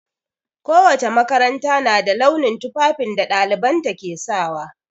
Ko wace makaranta na da launin tufafin da ɗalibanta ke sawa.